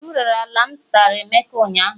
M rere ala m zụtara emeka ụnyahụ